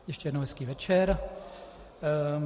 Ještě jednou hezký večer.